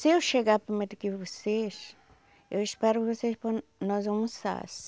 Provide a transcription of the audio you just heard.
Se eu chegar primeiro que vocês, eu espero vocês para nós almoçar.